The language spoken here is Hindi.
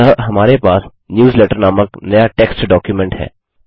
अतः हमारे पास न्यूजलेटर नामक नया टेक्स्ट डॉक्युमेंट है